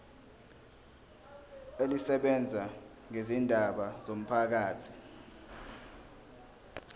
elisebenza ngezindaba zomphakathi